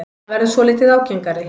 Hann verður svolítið ágengari.